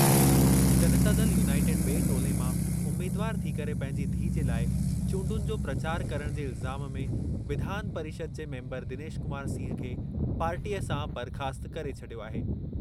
जनता Dal united बि॒ए टोले मां उमीदवार थी करे पंहिंजी धीउ जे लाइ चूंडुनि जो प्रचार करणु जे इल्ज़ाम में विधान परिषद जे मेंबर दिनेश कुमार सिंह खे पार्टीअ सां बरख़ास्तु करे छॾियो आहे।